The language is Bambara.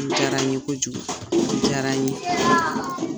O diyara n ye kojugu o diyara n ye.